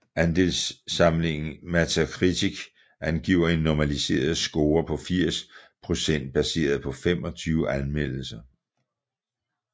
Anmeldelsessamlingen Metacritic angiver en normaliseret score på 80 procent baseret på 25 anmeldelser